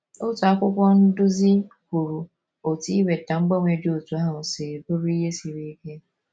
Otu akwụkwọ nduzi kwuru otú iweta mgbanwe dị otú ahụ si bụrụ ihe siri ike.